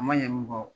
A ma ɲɛ mun kɔ